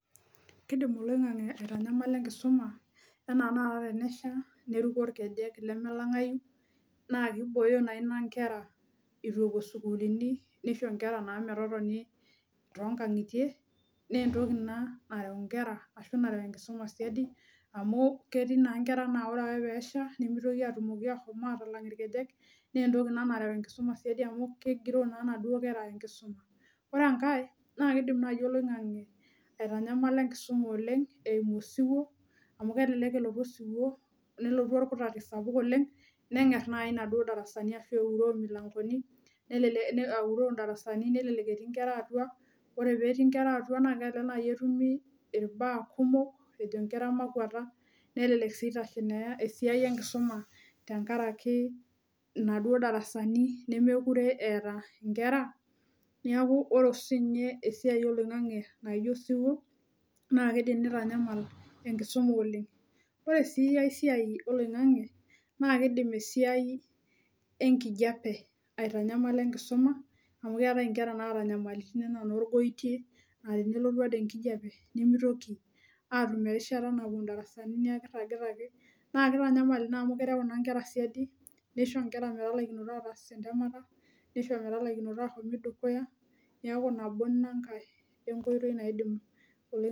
Kidim oloing'ang'e aitanyamala enkisuma enaa enaata enesha neruko irkejek leme lang'ayu naa kibooyo naina inkera itu epuo isukuluni nisho naa inkera metotoni tonkang'itie nentoki ina nareu inkera ashu nareu enkisuma siadi amu ketii naa inkera naa ore ake peesha nimitoki aitoki ahom atalang irkejek nentoki ina nareu enkisuma siadi amu kegiroo naa inaduo kera enkisuma ore enkae naa kidim naaji oloing'ang'e aitanyamala enkisuma oleng eimu osiwuo amu kelelek elotu osiwuo nelotu orkutati sapuk oleng neng'err naai inaduo darasani ashu euroo imilankoni nelele auroo indarasani nelelek etii inkera atua ore petii inkera atua naa kelelek naai etumi irbaa kumok ejo inkera makuata nelelek sii itashe naa esiai enkisuma tenkaraki inaduo darasani nemekure eeta inkera niaku oro siinye esiai oloing'ang'e naijio osiwuo naa kidim nitanyamal enkisuma oleng ore sii ae siai oloing'ang'e naa kidim esiai enkijape aitanyamala enkisuma amu keetae inkera naata inyamalitin enaa inorgoitie atenelotu ade enkijiape nemitoki atum erishata napuo indarasani nia kirragita ake naa kitanyamal ina mu kereu ina inkera siadi nisho inkera metalaikinoto ataas entemata nisho metalaikinoto ahomi dukuya niaku nabo inankae enkoitoi naidim oloi.